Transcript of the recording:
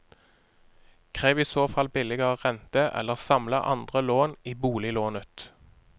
Krev i så fall billigere rente, eller samle andre lån i boliglånet.